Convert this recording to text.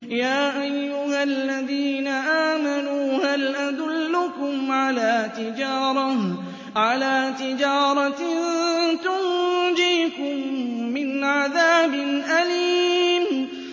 يَا أَيُّهَا الَّذِينَ آمَنُوا هَلْ أَدُلُّكُمْ عَلَىٰ تِجَارَةٍ تُنجِيكُم مِّنْ عَذَابٍ أَلِيمٍ